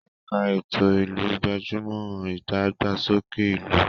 Ẹ̀ka ètò ìlú gbájú mọ́ ìdàgbàsókè ìlú.